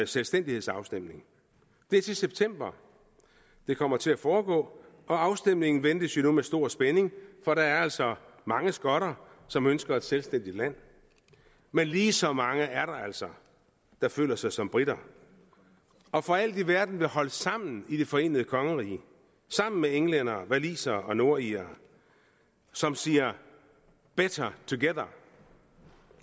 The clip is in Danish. selvstændighedsafstemning det er til september det kommer til at foregå og afstemningen ventes jo nu med stor spænding for der er altså mange skotter som ønsker et selvstændigt land men lige så mange er der altså der føler sig som briter og for alt i verden vil holde sammen i det forenede kongerige sammen med englændere walisere og nordirere som siger better together